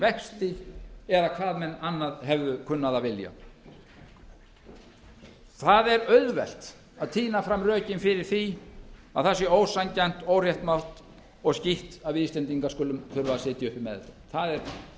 vexti eða hvað menn hefðu annað kunnað að vilja það er auðvelt að tína fram rökin fyrir því að það sé ósanngjarnt óréttlátt og skítt að við íslendingar skulum þurfa að sitja uppi með þetta það er